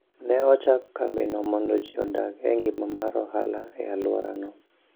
Ne ochak kambino mondo ji odag e ngima mar ohala e alworano.